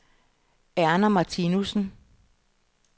Erna Martinussen